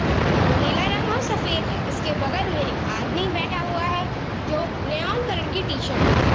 हम नीला रंग और सफेद है इसके बगल में एक आदमी बैठा हुआ है जो न्योन कलर की टी-शर्ट में है ।